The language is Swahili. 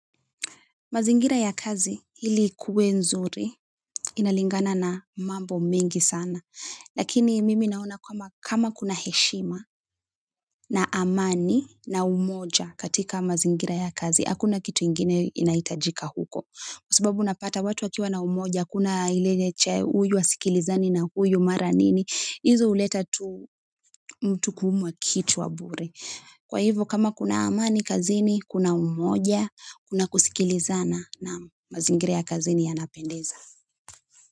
Mazingira ya kazi ili ikuwe nzuri, inalingana na mambo mingi sana. Lakini mimi naona kama kuna heshima na amani na umoja katika mazingira ya kazi, hakuna kitu ingine inahitajika huko. Kwa sababu unapata watu wakiwa na umoja, hakuna ile cha huyu asikilizani na huyu mara nini. Hizo huleta tu mtu kuumwa kichwa bure. Kwa hivyo kama kuna amani kazini, kuna umoja, kuna kusikilizana naam mazingira ya kazini yanapendeza.